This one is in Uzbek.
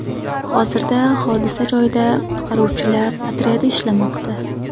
Hozirda hodisa joyida qutqaruvchilar otryadi ishlamoqda.